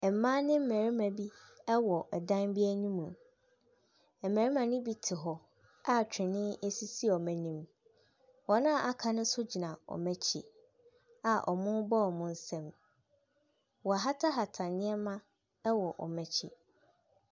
Ɛmbaa ne mbɛrema bi ɛwɔ ɛdan bi enim mo. Ɛmbɛrema ne bi te hɔ a twene esisi ɔmo enim. Wɔn a aka no so gyina ɔmo ekyi a ɔmo bɔ ɔmo nsa mu. Woahatahata nneɛma ɛwɔ ɔmo ekyi.